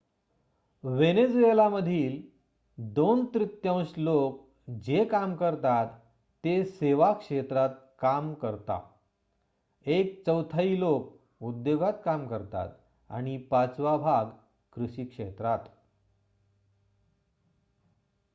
Venezuela मधील 2 तृतीयांश लोक जे काम करतात ते सेवा क्षेत्रात काम करता एक चौथाई लोक उद्योगात काम करतात आणि पाचवा भाग कृषी क्षेत्रात